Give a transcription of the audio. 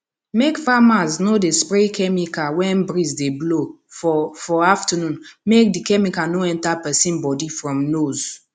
make farmers no dey spray chemical when breeze dey blow for for afternoon make the chemical no enter person bodyfrom nose